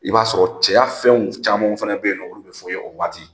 I b'a sɔrɔ cɛya fɛnw caman fɛnɛ be yen nɔn olu bi f'i ye o waati.